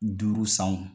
Duuru san wo